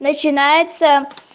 начинается